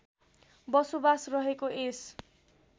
बसोबास रहेको यस